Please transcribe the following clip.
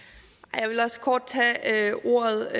jeg vil også kort tage ordet